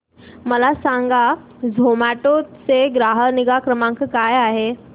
मला सांगा झोमॅटो चा ग्राहक निगा क्रमांक काय आहे